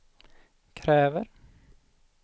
kräver